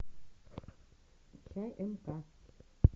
тнк